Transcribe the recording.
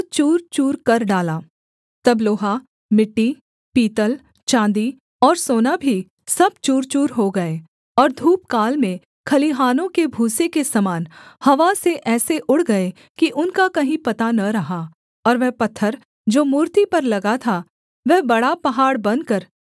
तब लोहा मिट्टी पीतल चाँदी और सोना भी सब चूरचूर हो गए और धूपकाल में खलिहानों के भूसे के समान हवा से ऐसे उड़ गए कि उनका कहीं पता न रहा और वह पत्थर जो मूर्ति पर लगा था वह बड़ा पहाड़ बनकर सारी पृथ्वी में फैल गया